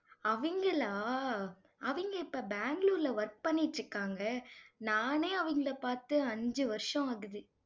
அவங்களா அவங்க இப்ப பெங்களூர்ல work பண்ணிட்டு இருக்காங்க. நானே அவங்களை பார்த்து அஞ்சு வருஷம் ஆகுது